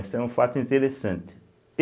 Isso é um fato interessante.